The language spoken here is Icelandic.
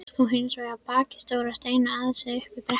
Og hins vegar bakvið stóra steina aðeins uppi í brekkunni.